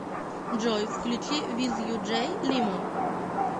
джой включи виз ю джей лимо